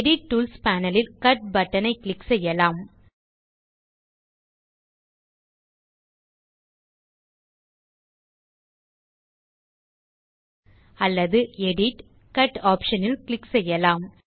edit tools panel இல் cut button click செய்யலாம் அல்லது எடிட் ஜிடிஜிடி கட் ஆப்ஷன் ல் கிளிக் செய்யலாம்